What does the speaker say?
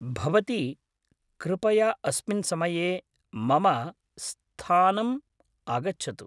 भवती कृपया अस्मिन् समये मम स्थानम् आगच्छतु।